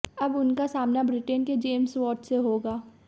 अब उनका सामना ब्रिटेन के जेम्स वार्ड से होगा